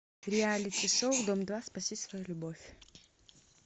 реалити шоу дом два спаси свою любовь